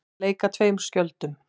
Að leika tveimur skjöldum